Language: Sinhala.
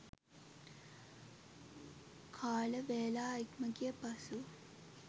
කාල වේලා ඉක්මගිය පසු